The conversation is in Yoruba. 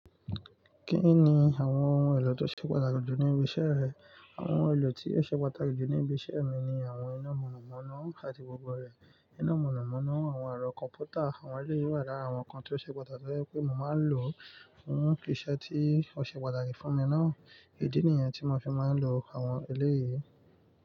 Kí ni àwọn ohun èlò tó ṣe pàtàkì jù níbi iṣẹ́ rẹ? Àwọn ohun èlò tí ó ṣe pàtàkì jù níbi iṣẹ́ mi ni àwọn iná mọ̀nàmọ́ná àti gbogbo rẹ̀, iná mọ̀nàmọ́ná, àwọn ẹ̀rọ computer, àwọn eleyu wa lára awọn nkan tí ó ṣe pàtàkì tóri pé mo máa ń lò fún isẹ́ tí ó ṣe pàtàkì fún mi ná. Idí nìyẹn tí mo fi máa ń lò àwọn eleyí.